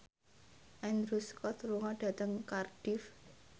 Andrew Scott lunga dhateng Cardiff